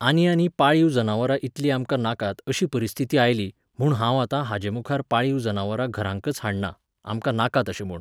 आनी आनी पाळीव जनावरां इतलीं आमकां नाकात अशी परीस्थिती आयली, म्हूण हांव आतां हाजेमुखार पाळीव जनावरां घरांकच हाडना, आमकां नाकात अशें म्हूण